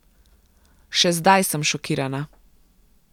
Še zdaj sem šokirana.